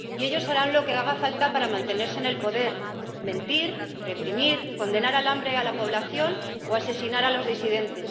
Y ellos harán lo que haga falta para mantenerse en el poder mentir, reprimir, condenar al hambre a la población o asesinar a los disidentes.